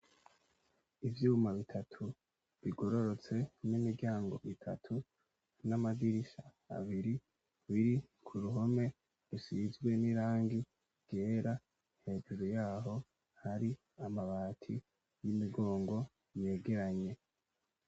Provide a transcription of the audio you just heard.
Ivyuma bitatu bigororotse n'imiryango itatu n'amadirisha abiri biri kuruhome rusizwe n'irangi ryera hejuru yaho hari amabati y'imigongo yegeranye